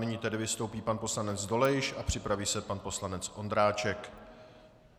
Nyní tedy vystoupí pan poslanec Dolejš a připraví se pan poslanec Ondráček.